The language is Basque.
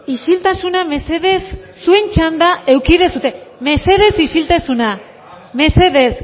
isiltasuna mesedez zuen txanda eduki duzue mesedez isiltasuna mesedez